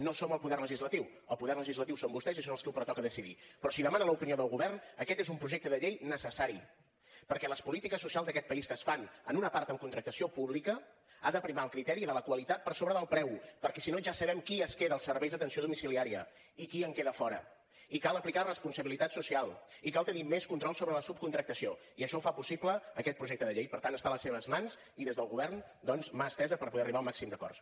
no som el poder legislatiu el poder legislatiu són vostès i són als qui els pertoca decidir però si demana l’opinió del govern aquest és un projecte de llei necessari perquè les polítiques socials d’aquest país que es fan en una part amb contractació pública ha de primar el criteri de la qualitat per sobre del preu perquè si no ja sabem qui es queda els serveis d’atenció domiciliaria i qui en queda fora i cal aplicar responsabilitat social i cal tenir més control sobre la subcontractació i això ho fa possible aquest projecte de llei per tant està a les seves mans i des del govern doncs mà estesa per poder arribar a un màxim d’acords